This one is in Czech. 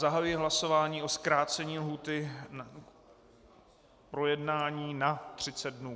Zahajuji hlasování o zkrácení lhůty k projednání na 30 dnů.